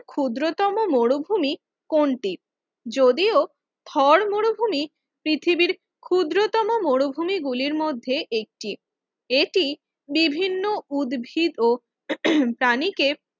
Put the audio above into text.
ক্ষুদ্রতম মরুভূমি কোনটি? যদিও থর মরুভূমি পৃথিবীর ক্ষুদ্রতম মরুভূমি গুলির মধ্যে একটি এটি বিভিন্ন উদ্ভিদ ও প্রাণীকে